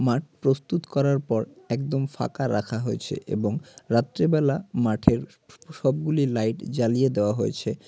মাট প্রস্তুত করার পর একদম ফাকা রাখা হয়েছে এবং রাত্রেবেলা মাঠের সবগুলি লাইট জ্বালিয়ে দেওয়া হয়েছে।